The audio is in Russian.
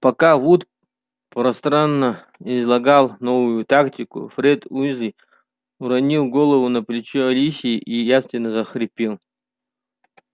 пока вуд пространно излагал новую тактику фред уизли уронил голову на плечо алисии и явственно захрапел